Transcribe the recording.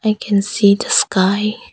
I can see the sky.